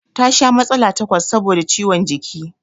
Ta sha matsala takwas saboda ciwon jiki